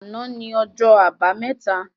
Àná ni ọjọ́ àbámẹ́ta